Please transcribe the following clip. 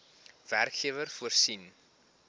werkgewer voorsien